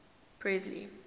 presley